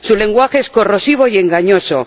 Su lenguaje es corrosivo y engañoso.